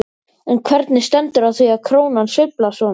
En hvernig stendur á því að krónan sveiflast svona?